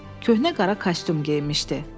Köhnə qara kostyum geyinmişdi.